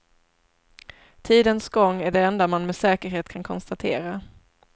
Tidens gång är det enda man med säkerhet kan konstatera.